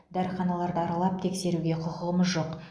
дәріханаларды аралап тексеруге құқығымыз жоқ